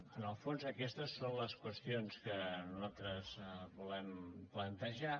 en el fons aquestes són les qüestions que nosaltres volem plantejar